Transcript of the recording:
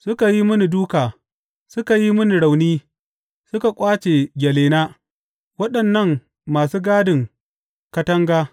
Suka yi mini dūka, suka yi mini rauni; suka ƙwace gyalena waɗannan masu gadin katanga!